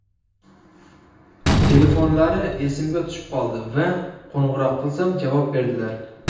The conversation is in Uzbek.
Telefonlari esimga tushib qoldi va qo‘ng‘iroq qilsam, javob berdilar.